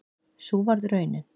Sú varð raunin